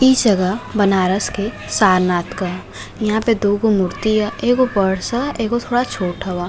इ जगह बनारस के सारनाथ क ह। यहाँ पे दो गो मूर्ति ह। ऐगो बड़ ह। ऐगो थोड़ा छोट हव।